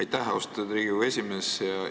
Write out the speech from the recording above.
Aitäh, austatud Riigikogu esimees!